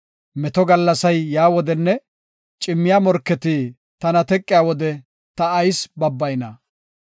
Meto gallasay yaa wodenne cimmiya morketi; tana teqiya wode ta ayis babbayna?